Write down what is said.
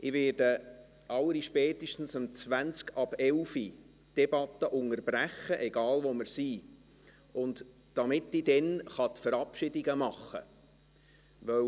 Ich werde allerspätestens um 11.20 Uhr die Debatte unterbrechen – egal wo wir sind –, damit ich dann die Verabschiedungen machen kann.